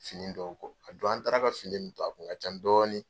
fini dɔw kɔ a don an taara ka fini min to a kun ka ca dɔɔnin.